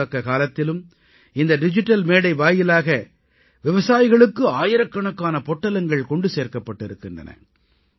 பொதுமுடக்க காலத்திலும் இந்த டிஜிட்டல் மேடை வாயிலாக விவசாயிகளுக்கு ஆயிரக்கணக்கான பொட்டலங்கள் கொண்டு சேர்க்கப்பட்டிருக்கின்றன